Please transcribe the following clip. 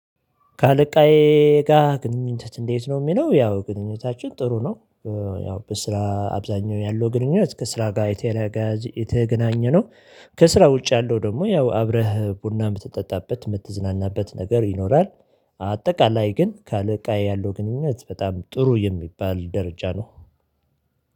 ከአለቃዬ ጋር ግንኙነት እንዴት ነው? የሚለው ያው ግንኙነታችን ጥሩ ነው ያው በስራ አብዛኛው ያለው ግንኙነት ከስራ ጋር የተገናኘነው፤ ከስራ ውጭ ያለው ደግሞ ያው አብረህ ቡና የምትጠጣበት፣ የምትዝናናበት ነገር ይኖራል። አጠቃላይ ግን ከአለቃዬ ያለው ግንኙነት በጣም ጥሩ የሚባል ደረጃ ነው።